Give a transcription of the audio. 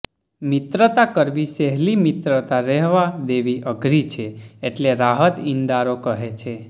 મિત્રતા કરવી સહેલી મિત્રતા રહેવા દેવી અઘરી છે એટલે રાહત ઈન્દારો કહે છે